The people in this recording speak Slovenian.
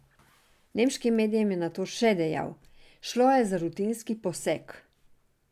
Nemškim medijem je nato še dejal: "Šlo je za rutinski poseg.